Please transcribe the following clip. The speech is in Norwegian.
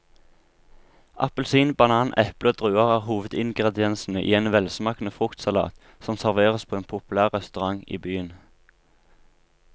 Appelsin, banan, eple og druer er hovedingredienser i en velsmakende fruktsalat som serveres på en populær restaurant i byen.